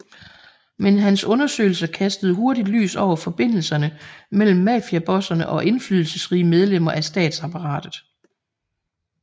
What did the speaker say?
Men hans undersøgelser kastede hurtig lys over forbindelserne mellem mafiabosserne og indflydelsesrige medlemmer af statsapparatet